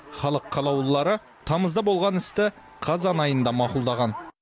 халық қалаулылары тамызда болған істі қазан айында мақұлдаған